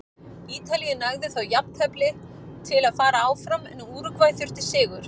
Ítalíu nægði þó jafntefli til að fara áfram en Úrúgvæ þurfti sigur.